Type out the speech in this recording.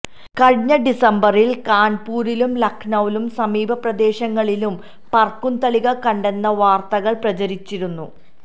കഴിഞ്ഞ ഡിസംബറില് കാണ്പൂരിലും ലക്നൌവിലും സമീപ പ്രദേശങ്ങളിലും പറക്കുംതളിക കണ്ടെന്ന വാര്ത്തകള് പ്രചരിച്ചിരുന്നു